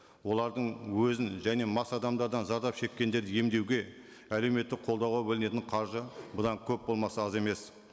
олардың өзін және мас адамдардан зардап шеккендерді емдеуге әлеуметтік қолдауға бөлінетін қаржы бұдан көп болмаса аз емес